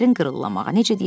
Dərin qırıllanmağa.